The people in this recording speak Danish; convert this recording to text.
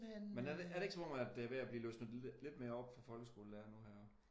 Men er det ikke er det ikke som om at det er ved at blive løsnet lidt mere op for folkeskolelærere nu her?